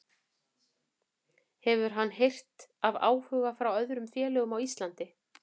Hefur hann heyrt af áhuga frá öðrum félögum á Íslandi?